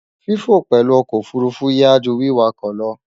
Fífò pèlú okò òfurufú yááju wíwakò lo